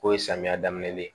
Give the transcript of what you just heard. K'o ye samiya daminɛ ye